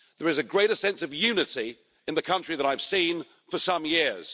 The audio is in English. There is a greater sense of unity in the country than I've seen for some years.